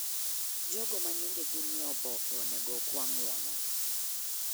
Jogo ma nying'e gi nie oboke onego okwa ng'uono.